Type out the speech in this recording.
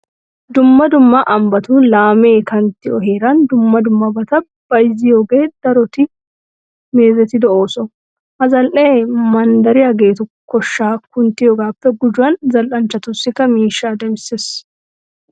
Dumma dumma ambbatun laamee kanttiyo heeran dumma dummabata bayzziyogee daroti meezetido ooso. Ha zal"ee manddariyageetu koshshaa kunttiyogaappe gujuwan zal"anchchatussikka miishshaa demissees.